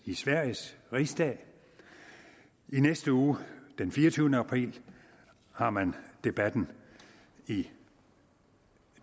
i sveriges rigsdag i næste uge den fireogtyvende april har man debatten i